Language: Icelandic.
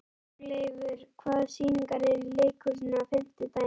Þórleifur, hvaða sýningar eru í leikhúsinu á fimmtudaginn?